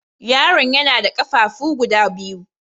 Yaron ya na da ƙafafu guda biyu.